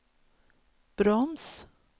broms